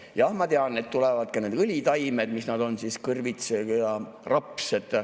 Jah, ma tean, et tulevad ka need õlitaimed, mis nad on, kõrvits ja raps.